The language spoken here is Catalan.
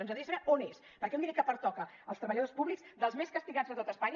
ens agradaria saber on és perquè un diner que pertoca als treballadors públics dels més castigats de tot espanya